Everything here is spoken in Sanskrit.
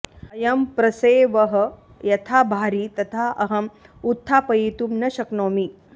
अयं प्रसेवः यथा भारी तथा अहम् उत्थापयितुं न शक्नोमि